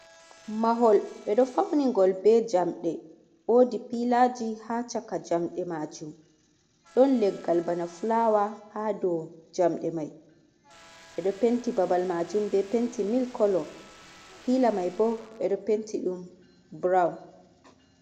Mahol Ɓedou Fauni Ngol be Jamde, Wodi peallerji ha Chaka Jamɗe Majum, Ɗou Leggal bana fulawa ha dou Jamde Mai, Ɓedo Penti Babal Majum be Penti Milk Colour. pealer Mai bo Ɓedo Penti ɗum Brown.